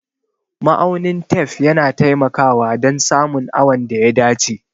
Ma'aunin tef yana taimakawa dan samun awon da ya dace